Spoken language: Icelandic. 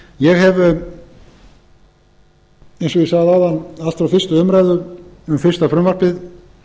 ég hef eins og ég sagði áðan allt frá fyrstu umræðu um fyrsta frumvarpið